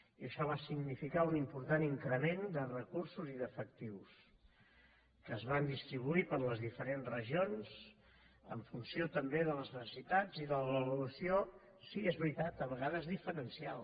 i això va significar un important increment de recursos i d’efectius que es van distribuir per les diferents regions en funció també de les necessitats i de l’avaluació sí és veritat a vegades diferencial